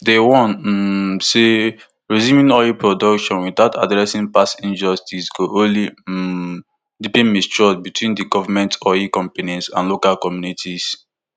dem warn um say resuming oil production without addressing past injustices go only um deepen mistrust between di goment oil companies and local communities